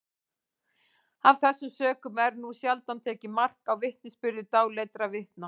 af þessum sökum er nú sjaldan tekið mark á vitnisburði dáleiddra vitna